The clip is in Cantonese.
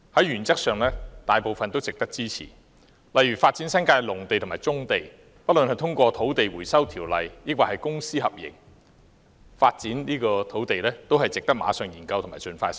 原則上，這些建議大部分也值得支持，例如發展新界的農地和棕地——不論是引用《土地收回條例》收地，抑或是通過公私合營發展土地——均值得馬上研究及盡快實施。